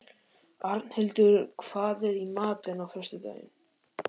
Arnhildur, hvað er í matinn á föstudaginn?